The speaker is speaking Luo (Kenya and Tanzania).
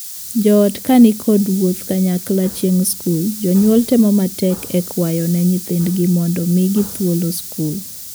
Joot ka ni kod wuodh kanyakla chieng' skul, jonyuol temo matek e kwayo ne thindgi mondo migi thuolo skul.